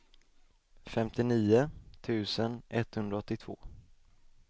femtionio tusen etthundraåttiotvå